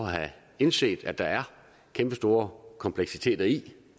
have indset at der er kæmpestore kompleksiteter i det